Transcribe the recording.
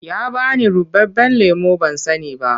Ya ba ni ruɓaɓɓen lemo ban sani ba.